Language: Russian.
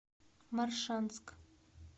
моршанск